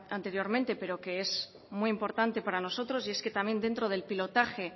anteriormente pero que es muy importante para nosotros y es que también dentro del pilotaje